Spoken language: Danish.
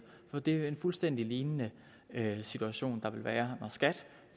er en fuldstændig lignende situation der vil være når skat